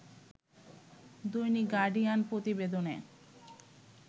দৈনিক গার্ডিয়ান প্রতিবেদনে